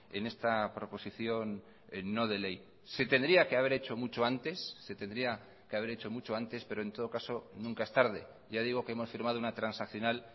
en esta proposición no de ley se tendría que haber hecho mucho antes se tendría que haber hecho mucho antes pero en todo caso nunca es tarde ya digo que hemos firmado una transaccional